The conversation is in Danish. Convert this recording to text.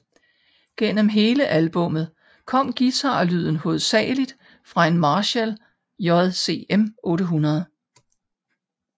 Gennem hele albummet kom guitarlyden hovedsageligt fra en Marshall JCM 800